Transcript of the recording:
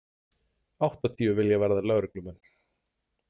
Áttatíu vilja verða lögreglumenn